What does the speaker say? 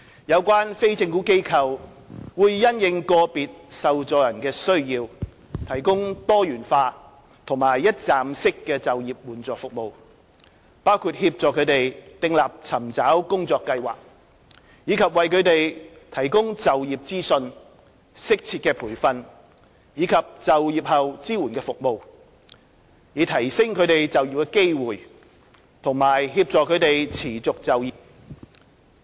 有關非政府機構會因應個別受助人的需要，提供多元化和一站式的就業援助服務，包括協助他們訂立尋找工作計劃，以及為他們提供就業資訊、適切的培訓及就業後支援服務，以提升他們就業機會及協助他們持續就業。